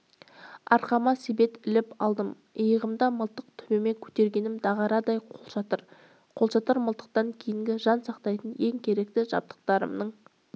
арқама себет іліп алдым иығымда мылтық төбеме көтергенім дағарадай қолшатыр қолшатыр мылтықтан кейінгі жан сақтайтын ең керекті жабдықтарымның